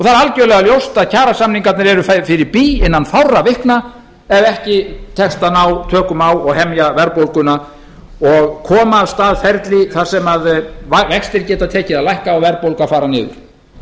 algjörlega ljóst að kjarasamningarnir eru fyrir bí innan fárra vikna ef ekki tekst að ná tökum á og hemja verðbólguna og koma af stað ferli þar sem vextir geti tekið að lækka og verðbólga að